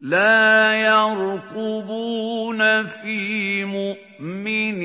لَا يَرْقُبُونَ فِي مُؤْمِنٍ